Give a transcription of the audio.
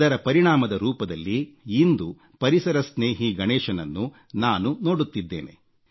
ಅದರ ಪರಿಣಾಮದ ರೂಪದಲ್ಲಿ ಇಂದು ಪರಿಸರಸ್ನೇಹಿ ಗಣೇಶನನ್ನು ನಾನು ನೋಡುತಿದ್ದೇನೆ